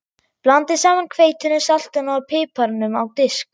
Blandið saman hveitinu, saltinu og piparnum á disk.